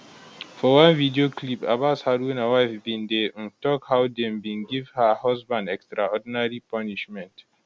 for one video clip abbas haruna wife bin dey um tok how dem bin give her husband extraordinary punishment